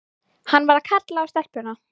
Hann var að kalla á stelpuna.